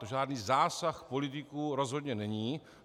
To žádný zásah politiků rozhodně není.